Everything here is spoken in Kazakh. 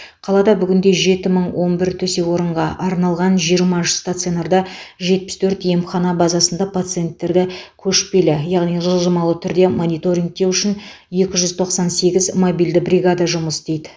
қалада бүгінде жеті мың он бір төсек орынға арналған жиырма үш стационарда жетпіс төрт емхана базасында пациенттерді көшпелі яғни жылжымалы түрде мониторингтеу үшін екі жүз тоқсан сегіз мобильді бригада жұмыс істейді